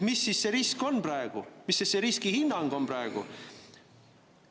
Mis see risk siis on praegu, mis see riskihinnang on praegu?